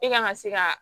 E ka kan ka se ka